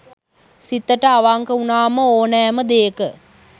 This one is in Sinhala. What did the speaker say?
සිතට අවංක වුනාම ඕනෑම දේක